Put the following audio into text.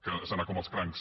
que és anar com els crancs